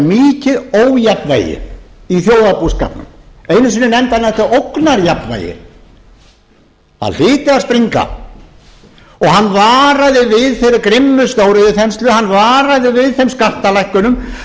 væri mikið ójafnvægi í þjóðarbúskapnum einu sinni nefndi hann þetta ógnarjafnvægi það hlyti að springa og hann varaði við þeirri grimmu stóriðjuþenslu hann varaði við þeim skattalækkunum hann